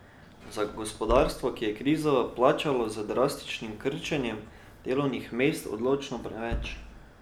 Za gospodarstvo, ki je krizo plačalo z drastičnim krčenjem delovnih mest, odločno preveč.